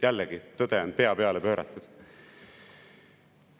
Jällegi, tõde on pea peale pööratud.